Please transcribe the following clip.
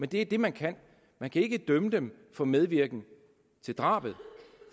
det er det man kan man kan ikke dømme dem for medvirken til drabet